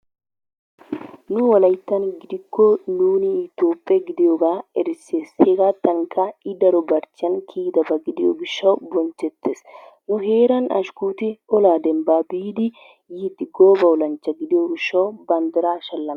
Nu wolayttan gidikko nu Itoophphe gidiyogaa erissees. Hegaattankka I daro barchchiyan kiyidaba gidiyo gishshawu bonchchettees. Nu heeran Ashkkoti olaa dembbaa biidi yiiddi gooba olanchcha gidiyo gishshawu banddiraa shallameti,,,,